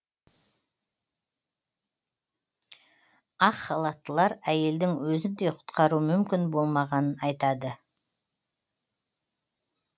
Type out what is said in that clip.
ақ халаттылар әйелдің өзін де құтқару мүмкін болмағанын айтады